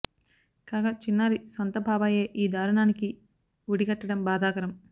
కాగా చిన్నారి సొంత బాబాయే ఈ దారుణానికి ఒడి గట్టడం బాధాకరం